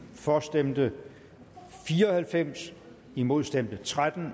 for stemte fire og halvfems imod stemte tretten